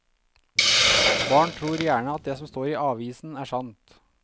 Barn tror gjerne at det som står i avisen er sant.